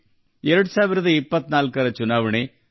2024ರ ಚುನಾವಣೆ ವಿಶ್ವದ ಅತಿದೊಡ್ಡ ಚುನಾವಣೆಯಾಗಿದೆ